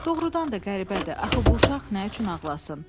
Doğrudan da qəribədir, axı bu uşaq nə üçün ağlasın?